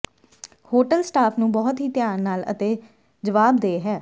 hotel staff ਨੂੰ ਬਹੁਤ ਹੀ ਧਿਆਨ ਨਾਲ ਅਤੇ ਜਵਾਬਦੇਹ ਹੈ